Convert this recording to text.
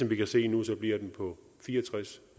vi kan se nu bliver den på fire og tres